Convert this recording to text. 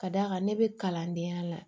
Ka d'a kan ne bɛ kalandenya la